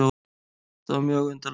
Þetta var mjög undarlegt.